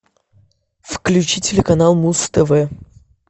включи телеканал муз тв